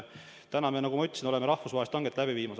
Täna me, nagu ma ütlesin, oleme rahvusvahelist hanget läbi viinud.